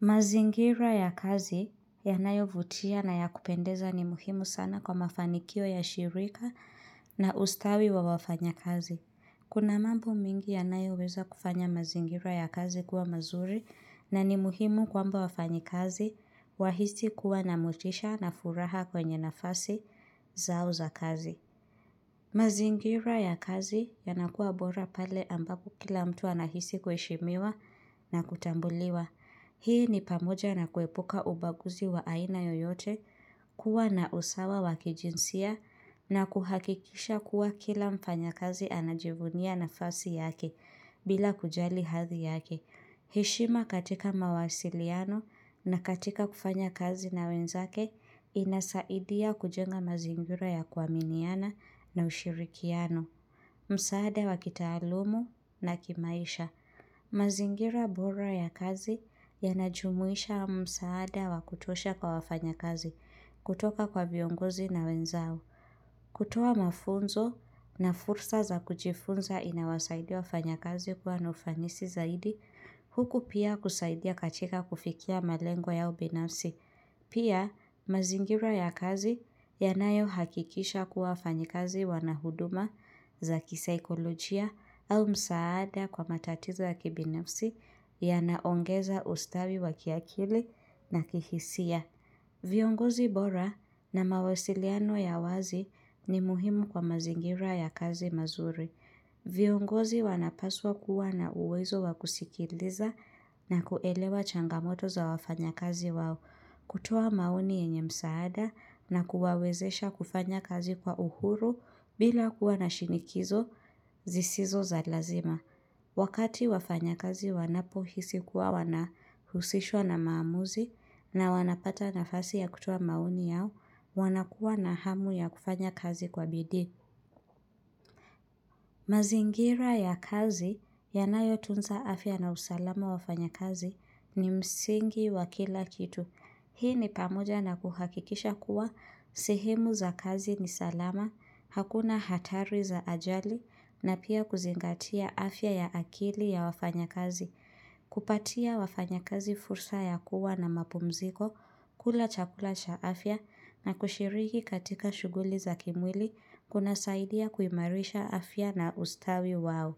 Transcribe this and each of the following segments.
Mazingira ya kazi yanayovutia na ya kupendeza ni muhimu sana kwa mafanikio ya shirika na ustawi wa wafanyakazi. Kuna mambo mengi yanayo weza kufanya mazingira ya kazi kuwa mazuri na ni muhimu kwamba wafanyikazi wahisi kuwa na motisha na furaha kwenye nafasi zao za kazi. Mazingira ya kazi yanakuwa bora pale ambapo kila mtu anahisi kuheshimiwa na kutambuliwa. Hii ni pamoja na kuepuka ubaguzi wa aina yoyote kuwa na usawa wa kijinsia na kuhakikisha kuwa kila mfanyakazi anajivunia nafasi yake bila kujali hadhi yake. Heshima katika mawasiliano na katika kufanya kazi na wenzake inasaidia kujenga mazingira ya kuaminiana na ushirikiano. Msaada wa kitaalumu na kimaisha. Mazingira bora ya kazi yanajumuisha msaada wa kutosha kwa wafanyakazi kutoka kwa viongozi na wenzao. Kutoa mafunzo na fursa za kujifunza inawasaidia wafanyakazi kuwa na ufanisi zaidi, huku pia kusaidia katika kufikia malengo yao binafsi. Pia, mazingira ya kazi yanayo hakikisha kuwa wafanyikazi wana huduma za kisaikolojia au msaada kwa matatizo ya kibinafsi yanaongeza ustawi wa kiakili na ki hisia. Viongozi bora na mawasiliano ya wazi ni muhimu kwa mazingira ya kazi mazuri. Viongozi wanapaswa kuwa na uwezo wa kusikiliza na kuelewa changamoto za wafanyakazi wao, kutuoa maoni yenye msaada na kuwawezesha kufanya kazi kwa uhuru bila kuwa na shinikizo zisizo za lazima. Wakati wafanya kazi wanapo hisi kuwa wanahusishwa na maamuzi na wanapata nafasi ya kutuoa maoni yao wanakuwa na hamu ya kufanya kazi kwa bidii. Mazingira ya kazi yanayo tunza afya na usalama wafanyakazi ni msingi wa kila kitu. Hii ni pamoja na kuhakikisha kuwa sehemu za kazi ni salama, hakuna hatari za ajali na pia kuzingatia afya ya akili ya wafanyakazi. Kupatia wafanyakazi fursa ya kuwa na mapumziko, kula chakula cha afya na kushiriki katika shuguli za kimwili kuna saidia kuimarisha afya na ustawi wao.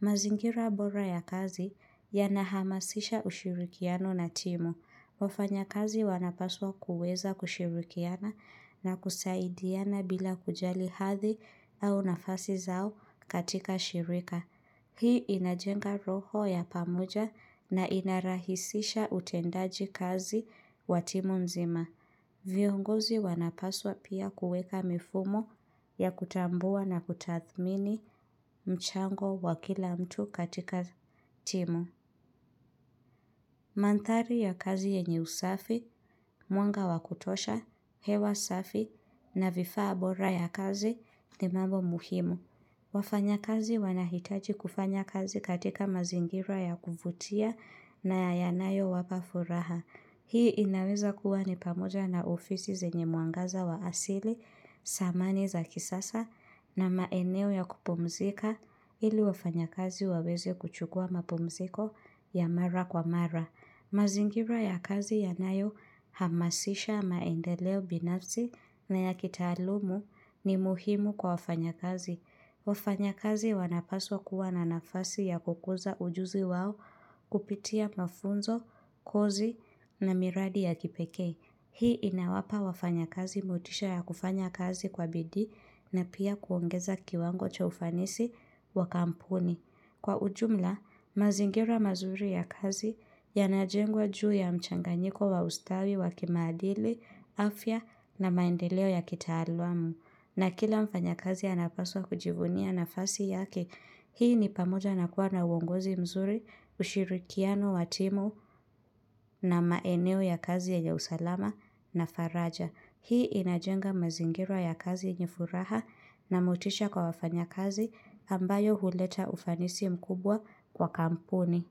Mazingira bora ya kazi yana hamasisha ushirikiano na timu. Wafanyakazi wanapaswa kuweza kushirikiana na kusaidiana bila kujali hathi au nafasi zao katika shirika. Hii inajenga roho ya pamoja na ina rahisisha utendaji kazi wa timu nzima. Viongozi wanapaswa pia kuweka mifumo ya kutambua na kutathmini mchango wa kila mtu katika timu. Manthari ya kazi yenye usafi, mwanga wa kutosha, hewa safi na vifaa bora ya kazi ni mambo muhimu. Wafanya kazi wanahitaji kufanya kazi katika mazingira ya kuvutia na yanayo wapa furaha. Hii inaweza kuwa ni pamoja na ofisi zenye mwangaza wa asili, samani za kisasa na maeneo ya kupumzika ili wafanyakazi waweze kuchukua mapumziko ya mara kwa mara. Mazingira ya kazi yanayo hamasisha maendeleo binafsi na ya kitaalumu ni muhimu kwa wafanyakazi. Wafanyakazi wanapaswa kuwa na nafasi ya kukuza ujuzi wao kupitia mafunzo, kozi na miradi ya kipekee. Hii inawapa wafanyakazi motisha ya kufanya kazi kwa bidii na pia kuongeza kiwango cha ufanisi wa kampuni. Kwa ujumla, mazingira mazuri ya kazi yanajengwa juu ya mchanganyiko wa ustawi wa kimaadili, afya na maendeleo ya kitaalamu. Na kila mfanyakazi anapaswa kujivunia nafasi yake, hii ni pamoja na kuwa na uongozi mzuri, ushirikiano, wa timu na maeneo ya kazi yenye usalama na faraja. Hii inajenga mazingira ya kazi yenye furaha na motisha kwa wafanyakazi ambayo huleta ufanisi mkubwa kwa kampuni.